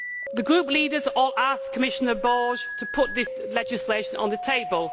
The group leaders all asked Commissioner Borg to put this legislation on the table.